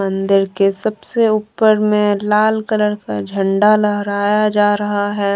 मंदिर के सबसे ऊपर में लाल कलर का झंडा लहराया जा रहा है।